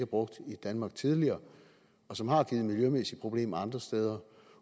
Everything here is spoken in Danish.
brugt i danmark tidligere og som har givet miljømæssige problemer andre steder